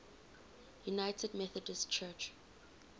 united methodist church